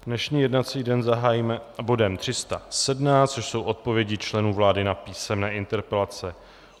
Dnešní jednací den zahájíme bodem 317, což jsou odpovědi členů vlády na písemné interpelace.